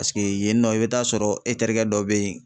Paseke yen nɔ, i be t'a sɔrɔ e terikɛ dɔ be yen